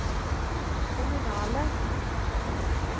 kommunale